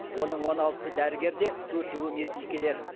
оның он алтысы дәрігер де төртеуі медбикелер